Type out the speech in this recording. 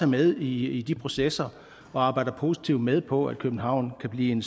med i de processer og arbejder positivt med på at københavn kan blive en